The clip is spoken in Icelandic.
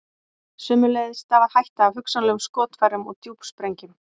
sömuleiðis stafar hætta af hugsanlegum skotfærum og djúpsprengjum